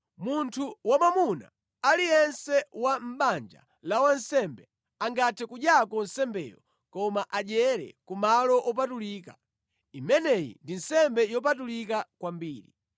Munthu wamwamuna aliyense wa mʼbanja la wansembe angathe kudyako nsembeyo koma adyere ku malo opatulika. Imeneyi ndi nsembe yopatulika kwambiri.